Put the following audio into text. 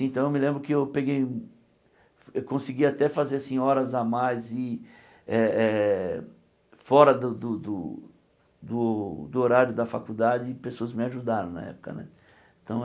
Então eu me lembro que eu peguei eu consegui até fazer assim horas a mais e eh eh fora do do do do horário da faculdade e pessoas me ajudaram na época né então.